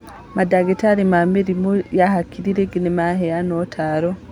Mandagĩtarĩ ma mĩrimũ ya hakiri ningĩ nĩmaheana ũtaaro